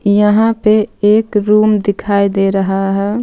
यहां पे एक रूम दिखाई दे रहा है.